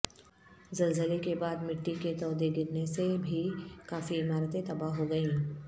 زلزلے کے بعد مٹی کے تودے گرنے سے بھی کافی عمارتیں تباہ ہوگئیں